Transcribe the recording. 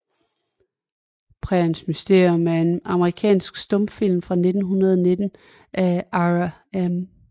Præriens Mysterium er en amerikansk stumfilm fra 1919 af Ira M